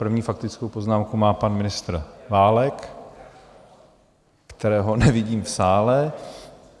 První faktickou poznámku má pan ministr Válek, kterého nevidím v sále.